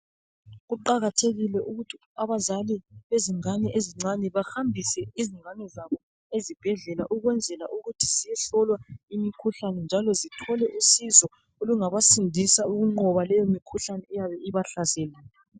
Kuqakathekile ukuthi abazali bezingane bahambise izingane zabo ezibhedlela ukwenzela ukuthi zihlolwa imikhuhlane njalo zithole usizo olungabasindisa ukunqoba leyo mikhuhlane eyabe ibahlasele.